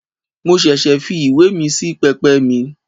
Mo ṣẹ̀ṣẹ̀ fi ìwé míì sí pẹpẹ mi.